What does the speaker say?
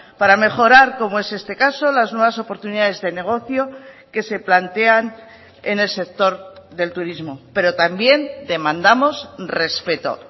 para mejorar como es este caso las nuevas oportunidades de negocio que se plantean en el sector del turismo pero también demandamos respeto